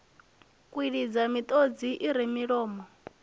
kwilidza miṱodzi i re milomo